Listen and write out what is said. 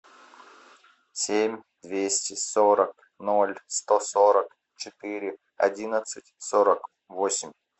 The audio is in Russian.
семь двести сорок ноль сто сорок четыре одиннадцать сорок восемь